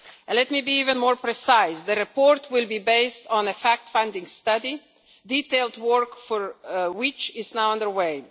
Let me be even more precise the report will be based on a fact-finding study, detailed work for which is now underway.